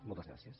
moltes gràcies